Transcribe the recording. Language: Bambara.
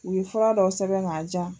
U ye fura dɔ sɛbɛn ka di yan.